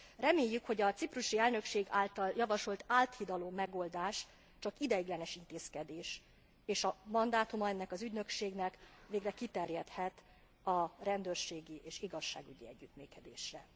Reméljük, hogy a ciprusi elnökség által javasolt áthidaló megoldás csak ideiglenes intézkedés, és a mandátuma ennek az ügynökségnek végre kiterjedhet a rendőrségi és igazságügyi együttműködésre.